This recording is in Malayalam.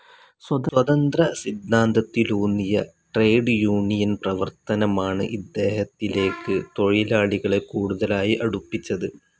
സ്വതന്ത്ര സിദ്ധാന്തത്തിലൂന്നിയ ട്രേഡ്‌ യൂണിയൻ പ്രവർത്തനമാണ് ഇദ്ദേഹത്തിലേക്ക് തൊഴിലാളികളെ കൂടുതലായി അടുപ്പിച്ചത്.